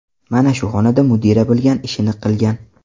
Mana shu xonada mudira bilgan ishini qilgan.